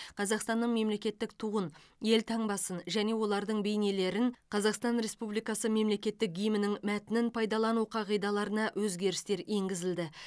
қазақстанның мемлекеттік туын елтаңбасын және олардың бейнелерін қазақстан республикасы мемлекеттік гимнінің мәтінін пайдалану қағидаларына өзгерістер енгізілді